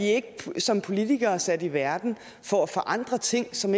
som politikere ikke sat i verden for at forandre ting som